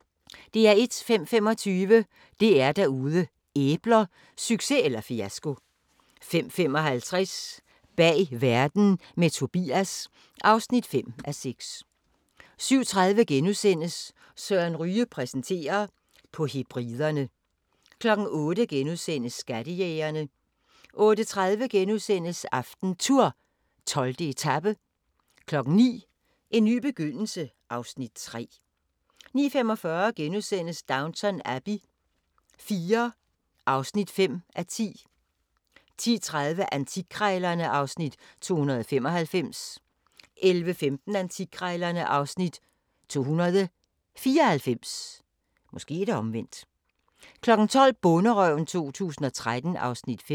05:25: DR-Derude: Æbler – succes eller fiasko 05:55: Bag verden – med Tobias (5:6) 07:30: Søren Ryge præsenterer: På Hebriderne * 08:00: Skattejægerne * 08:30: AftenTour: 12. etape * 09:00: En ny begyndelse (Afs. 3) 09:45: Downton Abbey IV (5:10)* 10:30: Antikkrejlerne (Afs. 295) 11:15: Antikkrejlerne (Afs. 294) 12:00: Bonderøven 2013 (Afs. 5)